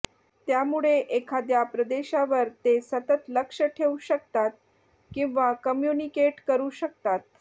त्यामुळे एखाद्या प्रदेशावर ते सतत लक्ष ठेऊ शकतात किंवा काम्युनिकेट करू शकतात